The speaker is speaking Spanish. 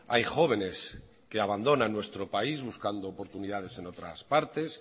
hay jóvenes que abandonan nuestro país buscando oportunidades en otras partes